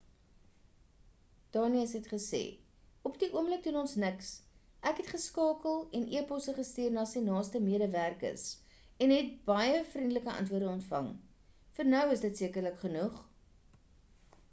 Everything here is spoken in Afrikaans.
danius het gesê op die oomblik doen ons niks ek het geskakel en eposse gestuur na sy naaste medewerkers en het baie vriendelike antwoorde ontvang vir nou is dit sekerlik genoeg